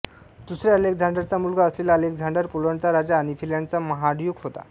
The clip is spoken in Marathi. दुसऱ्या अलेक्झांडरचा मुलगा असलेला अलेक्झांडर पोलंडचा राजा आणि फिनलंडचा महाड्यूक होता